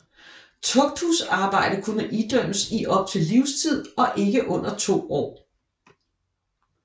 Tugthusarbejde kunne idømmes i op til livstid og ikke under 2 år